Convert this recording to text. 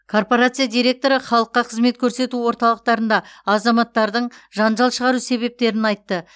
корпорация директоры халыққа қызмет көрсету орталықтарында азаматтардың жанжал шығару себептерін айтты